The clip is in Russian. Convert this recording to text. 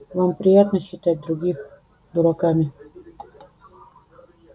вам приятно считать других дураками